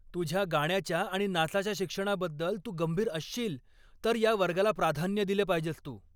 तुझ्या गाण्याच्या आणि नाचाच्या शिक्षणाबद्दल तू गंभीर असशील तर या वर्गाला प्राधान्य दिलं पाहिजेस तू.